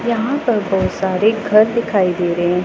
यहां पर बहोत सारे घर दिखाई दे रहे--